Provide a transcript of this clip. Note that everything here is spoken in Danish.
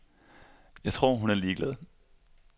Jeg tror, hun er ligeglad.